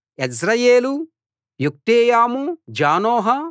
Jezreel Jokdeam జానోహ